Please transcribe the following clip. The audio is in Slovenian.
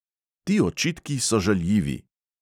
Ti očitki so žaljivi!